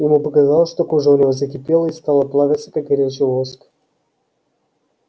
ему показалось что кожа у него закипела и стала плавиться как горячий воск